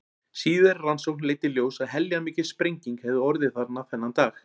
Síðari rannsókn leiddi í ljós að heljarmikil sprenging hafði orðið þarna þennan dag.